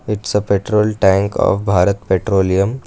it's a petrol tank of bharat petroleum.